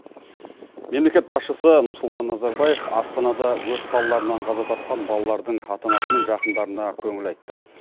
мемлекет басшысы нұрсұлтан назарбаев астанада өрт салдарынан қаза тапқан балалардың ата анасымен жақындарына көңіл айтты